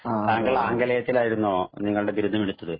താങ്കൾ ആംഗലേയത്തിൽ ആയിരുന്നോ താങ്കളുടെ ബിരുദം എടുത്തത്